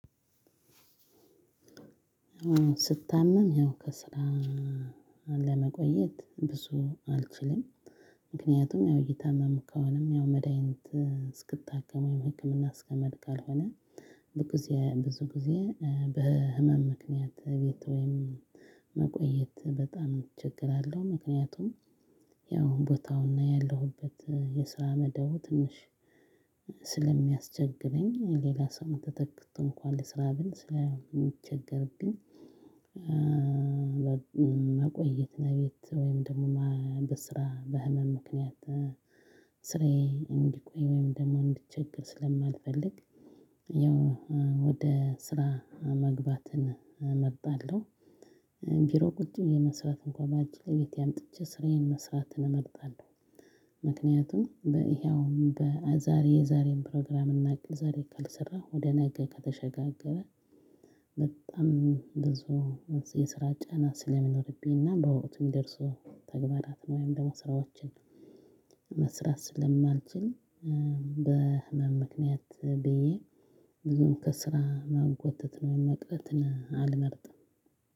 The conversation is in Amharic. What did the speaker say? አሁን ስታመም ይሄው ከስራ ለመቆየት ብዙ አልችልም። ምክንያቱም ያው እይታመም ከሆነም ያው መድሃኒት እስክታከመው የህክምና አስከመምሄድ ካልሆነ ብዙ ጊዜ በህመም ምክንያት ቤት ወይም መቆየት በጣም እቸገራለሁ። ምክንያቱም ያው ቦታውና ያለሁበት የስራ መደቡ ትንሽ ስለሚያስቸግረኝ ሌላ ሰው ተተክቶ እንኳን ልስራ ብል ስለ የሚቸገርብኝ መቆየት ነው። ቤት ወይም ደግሞ ማን በስራ በህመም ምክንያት ስራዬ እንዲቆይ ወይም ደግሞ እንዲቸገር ስለማልፈልግ ያው ወደ ስራ መግባትን እመርጣለሁ። ቢሮ ቁጭ ብዬ መስራት እንኳን ባልችልም ቤቴ አምጥቼ ስራዬን መስራት እመርጣለሁ። ምክንያቱም በይሄ አሁን በዛሬ የዛሬን ፕሮግራም እናቅል ዛሬ ካልሰራው ወደ ነገ ከተሸጋገረ በጣም ብዙ የስራ ጫና ስለሚኖርብኝ እና በወቅቱም የሚደርሰው ተግባራት ነው። ወይም ደግሞ ስራዎችን መስራት ስለማልችል በህመም ምክንያት ብዬ ብዙም ከስራ ማጎተት ነው የመቅረትን አልመርጥም።